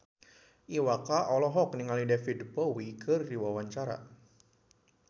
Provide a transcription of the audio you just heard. Iwa K olohok ningali David Bowie keur diwawancara